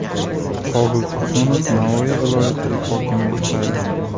Qobul Tursunov Navoiy viloyati hokimi etib saylandi.